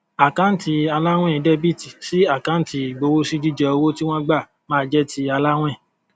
àkáǹtì aláwìn dr sí àkáǹtì ìgbowósí jíjẹ owó tí wón gbà ma jẹ ti aláwìn